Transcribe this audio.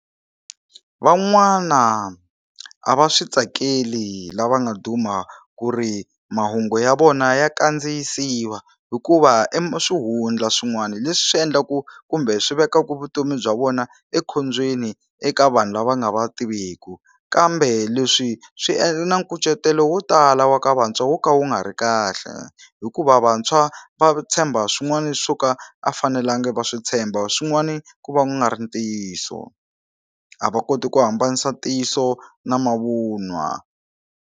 Van'wana a va swi tsakeli lava nga duma ku ri mahungu ya vona ya kandziyisiwa hikuva e swihundla swin'wana leswi endlaku kumbe swi vekaka vutomi bya vona ekhombyeni eka vanhu lava nga va tiviku kambe leswi swi endla na nkucetelo wo tala wa ka vantshwa wo ka wu nga ri kahle hikuva vantshwa va tshemba swin'wana swo ka a fanelanga va swi tshemba swin'wani ku va nga ri ntiyiso a va koti ku hambanisa ntiyiso na mavunwa.